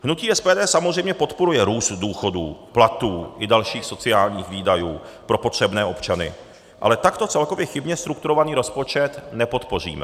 Hnutí SPD samozřejmě podporuje růst důchodů, platů i dalších sociálních výdajů pro potřebné občany, ale takto celkově chybně strukturovaný rozpočet nepodpoříme.